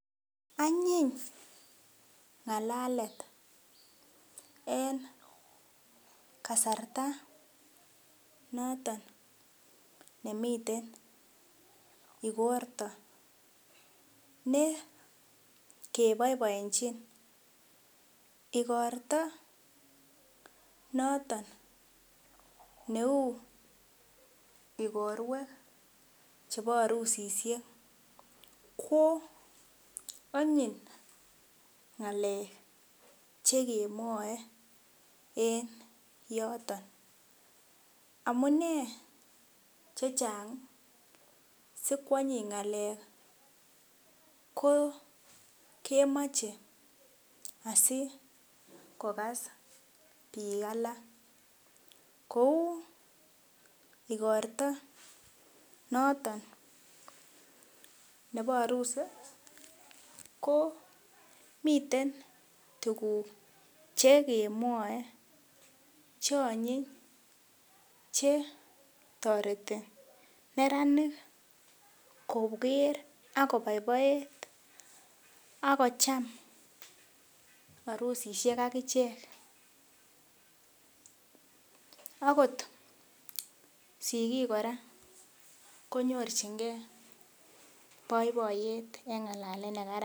Anyiny ngalalet en kasarta noton nemiten igorto ne keboiboenjin. Igorto noton neu igorwek chebo arusisiek ko anyiny ngalek che kemwoe en yoton. Amune che chang si kwanyiny ngalek ko, kemoche asikogas biik alak. Kou igorto noton nebo arusi ko miten tuguk chekemwoe che anyiny che toreti neranik koger ak koboiboet ak kocham arusisiek ak ichek. Agot sigiik kora konyorchinge boiboiyet en ngalalet nekararn.